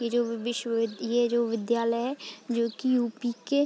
ये जो विश्व ये जो विद्यालय है। जो कि यूपी के --